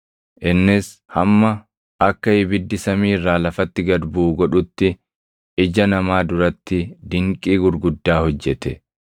Innis hamma akka ibiddi samii irraa lafatti gad buʼu godhutti ija namaa duratti dinqii gurguddaa hojjete.